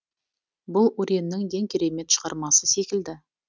бұл уреннің ең керемет шығармасы секілді